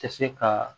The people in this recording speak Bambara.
Tɛ se ka